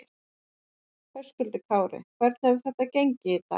Höskuldur Kári: Hvernig hefur þetta gengið í dag?